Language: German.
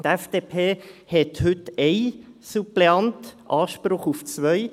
Die FDP hat heute einen Suppleanten, Anspruch auf zwei.